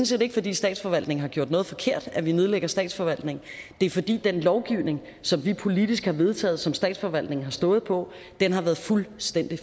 set ikke fordi statsforvaltningen har gjort noget forkert at vi nedlægger statsforvaltningen det er fordi den lovgivning som vi politisk har vedtaget og som statsforvaltningen har stået på har været fuldstændig